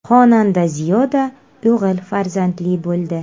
Xonanda Ziyoda o‘g‘il farzandli bo‘ldi.